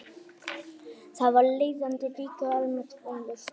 Þar af leiðandi ríkir almennt vonleysi.